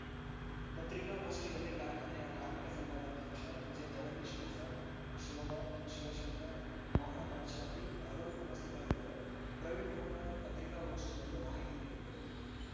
ಪತ್ರಿಕಾಗೋಷ್ಠಿಯಲ್ಲಿ ಕಾರ್ಖಾನೆಯ ಕಾರ್ಮಿಕ ಸಂಘದ ಅಧ್ಯಕ್ಷ ಜೆ ಜಗದೀಶ್‌ ಪ್ರಸಾದ್‌ ಶೋಭಾ ಶಿವಶಂಕರ್‌ ಮೋಹನ್‌ರಾಜ್‌ಶೆಟ್ಟಿ ಆರುಲ್‌ ಉಪಸ್ಥಿತರಿದ್ದರು ಪ್ರವೀಣ್‌ಕುಮಾರ್‌ ಪತ್ರಿಕಾಗೋಷ್ಠಿಯಲ್ಲಿ ಮಾಹಿತಿ ನೀಡಿದರು